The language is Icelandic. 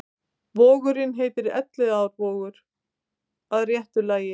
Vogurinn heitir Elliðaárvogur að réttu lagi.